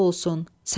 Səlma.